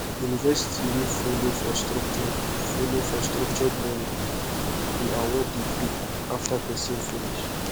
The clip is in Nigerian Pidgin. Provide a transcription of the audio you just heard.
university wey follow for structured follow for structured learning dey award degree after person finish